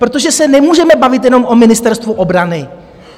Protože se nemůžeme bavit jenom o Ministerstvu obrany.